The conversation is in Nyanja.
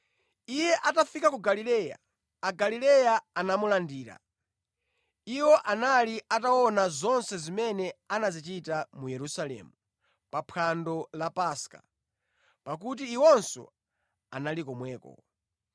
Iye atafika ku Galileya, Agalileya anamulandira. Iwo anali ataona zonse zimene anazichita mu Yerusalemu pa phwando la Paska, pakuti iwonso anali komweko.